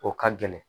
O ka gɛlɛn